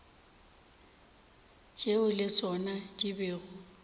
tšeo le tšona di bego